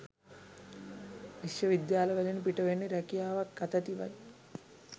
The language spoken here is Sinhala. විශ්වවිද්‍යාවලින් පිටවන්නේ රැකියාවක් අතැතිවයි